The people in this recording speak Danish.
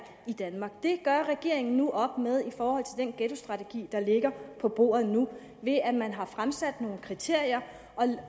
i danmark det gør regeringen nu op med i den ghettostrategi der ligger på bordet nu ved at man har fremsat nogle kriterier